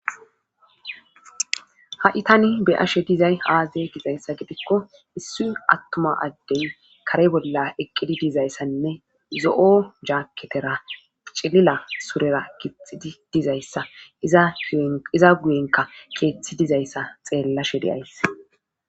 ha7i tani be7ashe dizay aaze gizayssa gidikko issi attuma addey kare bolla eqqidi dizayssanne zo7o jaketera cilila surera gixxidi dizayssa iza guyen iza guyenkka keethi dizayssa xeellashe de7ays.